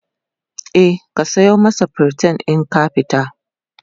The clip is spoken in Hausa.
e ka sayo masa priton in ka fita